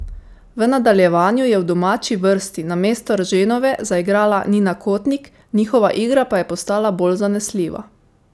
V nadaljevanju je v domači vrsti namesto Erženove zaigrala Nina Kotnik, njihova igra pa je postala bolj zanesljiva.